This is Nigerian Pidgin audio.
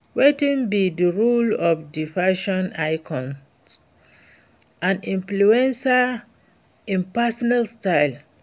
Wetin be di role of di fashion icons and influencers in personal style?